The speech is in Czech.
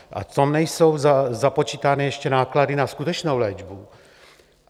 A to nejsou započítány ještě náklady na skutečnou léčbu.